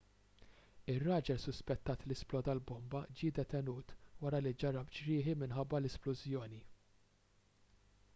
ir-raġel suspettat li sploda l-bomba ġie detenut wara li ġarrab ġrieħi minħabba l-isplużjoni